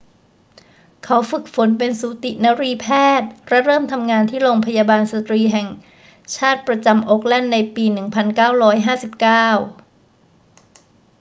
เขาฝึกฝนเป็นสูตินรีแพทย์และเริ่มทำงานที่โรงพยาบาลสตรีแห่งชาติประจำโอ๊คแลนด์ในปี 1959